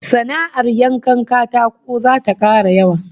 Sana'ar yankan katako zata kara yawa